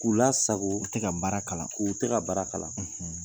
K'u la sago u tɛ ka baara kalan k'u tɛ ka baara kalan.